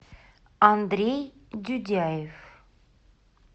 андрей дюдяев